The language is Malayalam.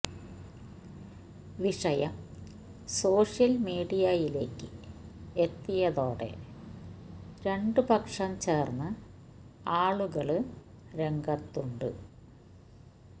വിഷയം സോഷ്യല് മീഡിയയിലേക്ക് എത്തിയതോടെ രണ്ട് പക്ഷം ചേര്ന്ന് ആളുകള് രംഗത്തുണ്ട്